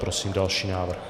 Prosím další návrh.